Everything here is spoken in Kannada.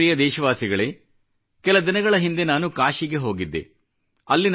ನನ್ನ ಪ್ರಿಯ ದೇಶವಾಸಿಗಳೇ ಕೆಲ ದಿನಗಳ ಹಿಂದೆ ನಾನು ಕಾಶಿಗೆ ಹೋಗಿದ್ದೆ